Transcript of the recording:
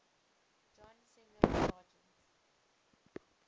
john singer sargent